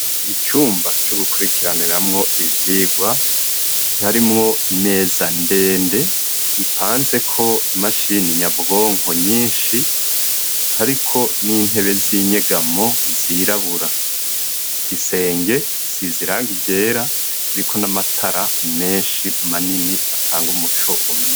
Icumba co gukurikiraniramwo ivyigwa harimwo imeza ndende ipanzeko imashini nyabwonko nyinshi ariko n'intebe z'inyegamo zirabura. Igisenge gisize irangi ryera kiriko n'amatara menshi manini atanga umuco.